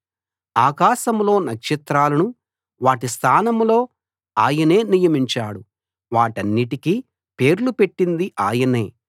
ఆకాశంలో నక్షత్రాలను వాటి స్థానంలో ఆయనే నియమించాడు వాటిన్నిటికీ పేర్లు పెట్టింది ఆయనే